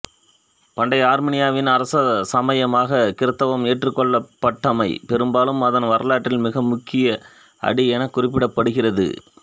பண்டைய ஆர்மீனியாவின் அரச சமயமாக கிறித்தவம் ஏற்றுக் கொள்ளப்பட்டமை பெரும்பாலும் அதன் வரலாற்றில் மிக முக்கிய அடி எனக் குறிப்பிடப்படுகிறது